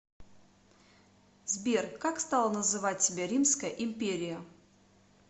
сбер как стала называть себя римская империя